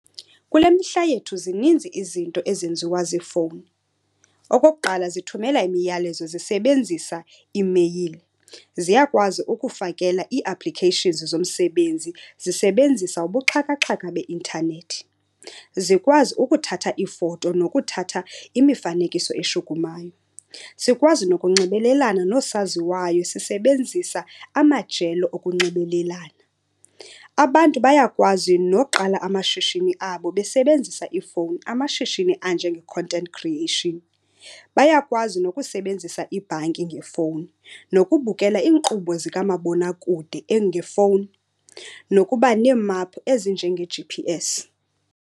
Kule mihla yethu zininzi izinto ezenziwa ziifowuni. Okokuqala zithumela imiyalezo zisebenzisa iimeyile, ziyakwazi ukufakela ii-applications zomsebenzi zisebenzisa ubuxhakaxhaka beintanethi. Zikwazi ukuthatha iifoto nokuthatha imifanekiso eshukumayo, sikwazi nokunxibelelana noosaziwayo sisebenzisa amajelo okunxibelelana. Abantu bayakwazi noqala amashishini abo besebenzisa iifowuni, amashishini anjenge-content creation. Bayakwazi nokusebenzisa ibhanki ngefowuni nokubukela iinkqubo zikamabonakude ngefowuni, nokuba neemaphu ezinjenge-G_P_S.